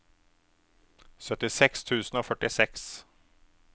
syttiseks tusen og førtiseks